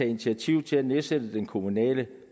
initiativ til at nedsætte den kommunale